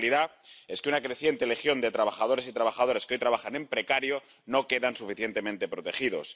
La realidad es que una creciente legión de trabajadores y trabajadoras que hoy trabajan en precario no quedan suficientemente protegidos.